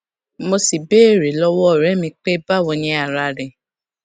mo sì béèrè lówó òré mi pé báwo ni ara rẹ